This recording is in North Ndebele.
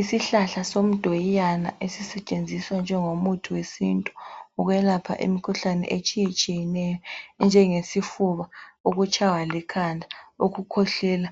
Isihlahla somdoyiyana esisetshenziswa njengomuthi wesintu ukwelapha imikhuhlane etshiyeneyo enjengesifuba, ukutshaywa likhanda, ukukhwehlela,